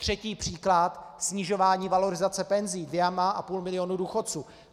Třetí příklad: snižování valorizace penzí dvěma a půl milionu důchodců.